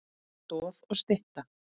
Stoð og stytta.